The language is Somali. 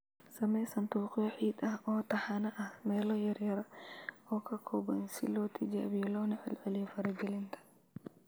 Samee sanduuqyo ciid ah oo taxane ah - meelo yaryar oo ka kooban si loo tijaabiyo loona celceliyo faragelinta